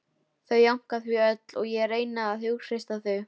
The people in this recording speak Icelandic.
Þau jánka því öll og ég reyni að hughreysta þau